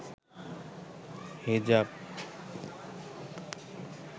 হিজাব